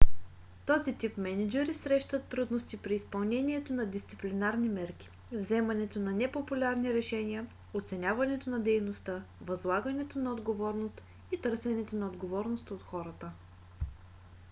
този тип мениджъри срещат трудности при изпълнението на дисциплинарни мерки вземането на непопулярни решения оценяването на дейността възлагането на отговорност и търсенето на отговорност от хората